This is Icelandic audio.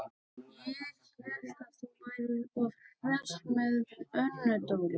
Ég hélt að þú værir svo hress með Önnu Dóru.